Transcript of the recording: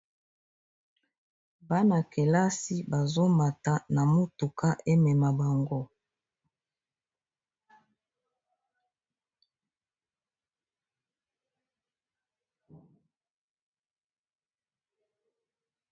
bana kelasi bazomata na motuka emema bango